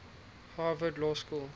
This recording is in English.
harvard law school